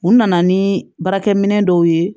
U nana ni baarakɛminɛ dɔw ye